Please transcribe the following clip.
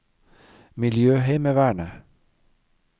miljøheimevernet